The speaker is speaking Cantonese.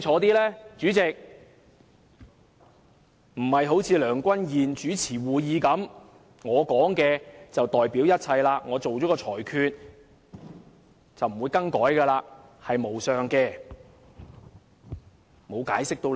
代理主席，不要像梁君彥議員主持會議般，他所說的便代表一切，他的裁決是無上的，不會更改的，也不用解釋理據。